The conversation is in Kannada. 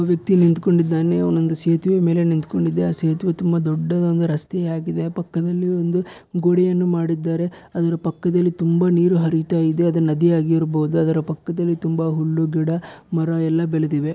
ಒಬ್ಬ ವ್ಯಕ್ತಿ ನಿಂತ್ಕೊಂಡ್ಡಿದ್ದಾನೆ ಅವನು ಒಂದು ಸೇತುವೆ ಮೇಲೆ ನಿಂತ್ಕೊಂಡಿದೆ ಆ ಸೇತುವೆ ತುಂಬಾ ದೊಡ್ಡದಾದ ರಸ್ತೆ ಆಗಿದೆ ಪಕ್ಕದಲ್ಲಿ ಒಂದು ಗೋಡೆಯನ್ನು ಮಾಡಿದ್ದಾರೆ ಅದರ ಪಕ್ಕದಲ್ಲಿ ತುಂಬಾ ನೀರು ಹರಿತ ಇದೆ ಅದು ನದಿ ಆಗಿರ್ಬೋದು ಅದರ ಪಕ್ಕದಲ್ಲಿ ತುಂಬಾ ಹುಲ್ಲು ಗಿಡ ಮರ ಎಲ್ಲಾ ಬೆಳೆದಿವೆ.